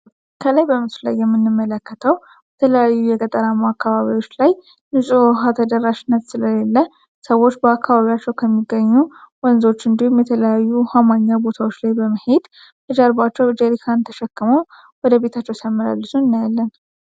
ከላይ በምስሉ ላይ የምንመለከተው በተለያዩ የቀጠራማ አካባቢዎች ላይ ንፁህ ውሃ ተደራሽነት ስለሌለ ሰዎች በአካባቢዎቸው ከሚገኙ ወንዞች እንዲሁም፤ የተለያዩ ውሃ ማግኛ ቦታዎች ላይ በመሄድ እጀርቧቸው በጀሪካን ተሸክመው ወደ ቤታቸው ሲያመላልሱ እናያለን።